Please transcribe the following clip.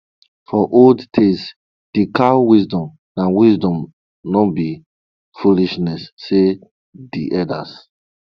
for old tales de cow wisdom na wisdom no be foolishness say de elders